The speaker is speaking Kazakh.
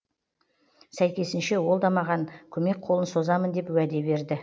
сәйкесінше ол да маған көмек қолын созамын деп уәде берді